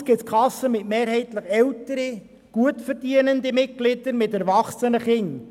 Andererseits gibt es Kassen mit mehrheitlich älteren, gutverdienenden Mitgliedern mit erwachsenen Kindern.